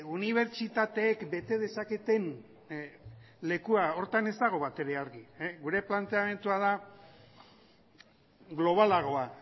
unibertsitateek bete dezaketen lekua horretan ez dago batere argi gure planteamendua da globalagoa